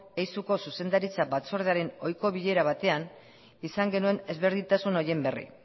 eizuko zuzendaritza batzordearen ohiko bilera batean izan genuen ezberdintasun horien berri